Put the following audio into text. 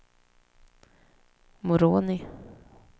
Moroni